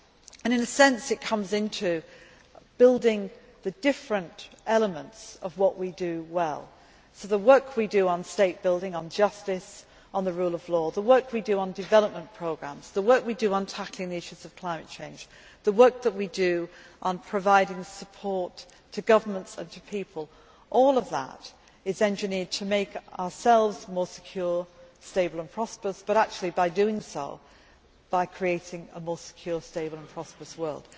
And in a sense, it comes into building the different elements of what we do well the work we do on state building, on justice, on the rule of law, the work we do on development programmes, the work we do on tackling the issues of climate change, the work that we do on providing support to governments and to people all of that is engineered to make us more secure, stable and prosperous but actually, by doing so, we are creating a more secure, stable and prosperous world.